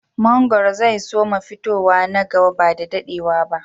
Mangoro zai su ma fitowa na gaba ba da daɗewa ba